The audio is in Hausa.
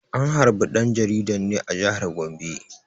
An harbe ɗan jaridan ne a jihar Gombe.